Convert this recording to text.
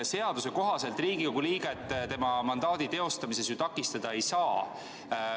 Seaduse kohaselt Riigikogu liiget tema mandaadi teostamisel takistada ei saa.